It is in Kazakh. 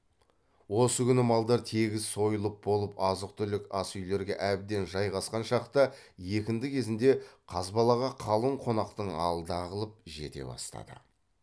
осы күні малдар тегіс сойылып болып азық түлік ас үйлерге әбден жайғасқан шақта екінді кезінде қазбалаға қалың қонақтың алды ағылып жете бастады